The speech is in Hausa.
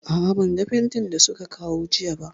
A'a, ban ga fentin da su ka kawo jiya ba